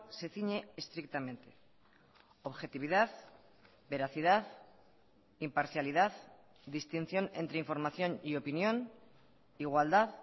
se ciñe estrictamente objetividad veracidad imparcialidad distinción entre información y opinión igualdad